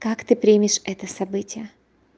как ты примешь это событие